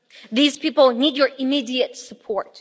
These people need your immediate support.